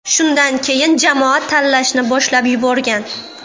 Shundan keyin jamoa tanlashni boshlab yuborgan.